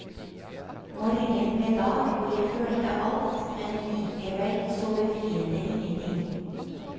Morgen ble dag, og jeg følte alt, men likevel så befriende ingenting.